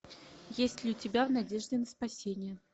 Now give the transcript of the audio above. есть ли у тебя в надежде на спасение